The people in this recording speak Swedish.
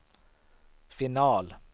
final